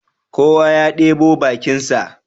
Kowa ya ɗebo bakinsa